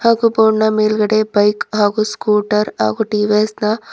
ಹಾಗು ಬೋರ್ಡ್ ನ ಮೇಲ್ಗಡೆ ಬೈಕ್ ಹಾಗು ಸ್ಕೂಟರ್ ಹಾಗು ಟಿ_ವಿ_ಎಸ್ ನ --